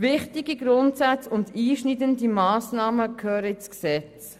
Wichtige Grundsätze und einschneidende Massnahmen gehören ins Gesetz.